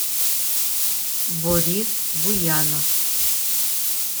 борис буянов